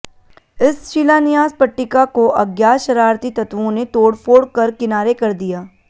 इस शिलान्यास पट्टिका को अज्ञात शरारती तत्वों ने तोडफ़ोड़ कर किनारे कर दिया